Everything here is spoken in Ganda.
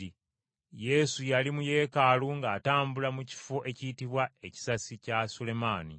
Yesu yali mu Yeekaalu ng’atambula mu kifo ekiyitibwa Ekisasi kya Sulemaani.